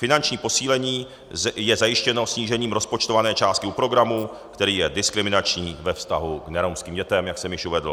Finanční posílení je zajištěno snížením rozpočtované částky u programu, který je diskriminační ve vztahu k neromským dětem, jak jsem již uvedl.